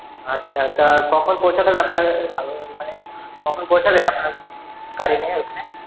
আচ্ছা তা কখন পৌঁছাতে হবে আপনার মানে কখন পৌঁছাবে আপনার গাড়ি নিয়ে ঐখানে?